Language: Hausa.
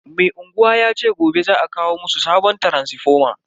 Mai unguwa yace gobe za a kawo musu sabon taransifoma.